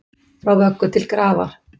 Frá vöggu til grafar